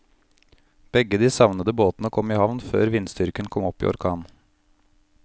Begge de savnede båtene kom i havn før vindstyrken kom opp i orkan.